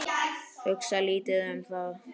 Hugsa lítið um það.